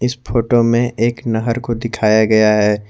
इस फोटो में एक नहर को दिखाया गया है।